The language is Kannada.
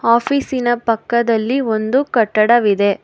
ಆಫೀಸಿನ ಪಕ್ಕದಲ್ಲಿ ಒಂದು ಕಟ್ಟಡ ಇದೆ.